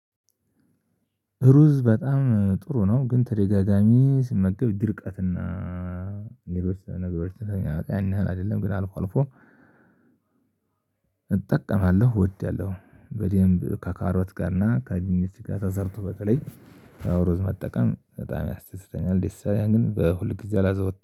ሩዝ በጣም ጥሩ ነው ግን ተደጋጋሚ ስመገብ ድርቀትና ሌሎች ነገር ተኛ አይደለም ግን አልፎ አልፎ። እጠቀማለሁ እወዳለሁ በደንብ ከካሮት ጋር እና ከአግኝቼ ጋር ተዘርቶ በተለይ አዎ ሩዝ መጠቀም በጣም ያስተስተኛል። ዲሳያን ግን በሁልጊዜ አላዘወጣም